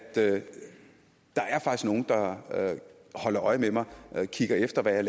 nogle der holder øje med dem og kigger efter hvad